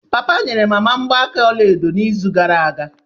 Papa nyere mama mgbaaka ọla edo n'izu gara aga.